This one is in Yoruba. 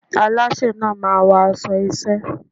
Alásè náà máa wọ aṣọ iṣẹ́ ẹ́.